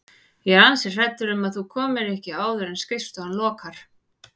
Ég er ansi hrædd um að þú komir ekki áður en skrifstofan lokar